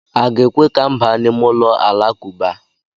A ga-ekwe ka m baa n'ime ụlọ Alakụba?